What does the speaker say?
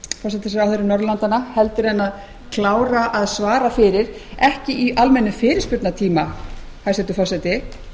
forsætisráðherrum norðurlandanna heldur en að klára að svara fyrir ekki í almennum fyrirspurnartíma hæstvirtur forseti